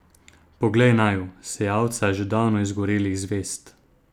Poglej naju, sejalca že davno izgorelih zvezd!